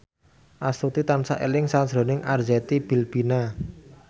Astuti tansah eling sakjroning Arzetti Bilbina